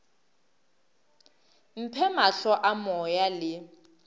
mphe mahlo a moya le